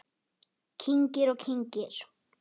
Kyngir og kyngir.